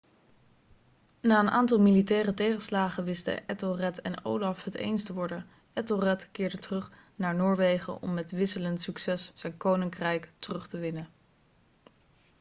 na een aantal militaire tegenslagen wisten ethelred en olaf het eens te worden ethelred keerde terug naar noorwegen om met wisselend succes zijn koninkrijk terug te winnen